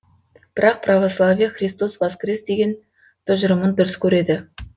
бірақ православие христос воскрес деген тұжырымын дұрыс көреді